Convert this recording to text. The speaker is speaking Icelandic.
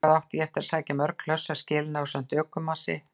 Þangað átti ég eftir að sækja mörg hlöss af skelinni ásamt öðrum ökumanni.